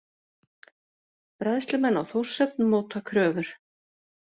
Bræðslumenn á Þórshöfn móta kröfur